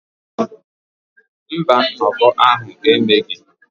Mba, nnọkọ ahụ emeghị.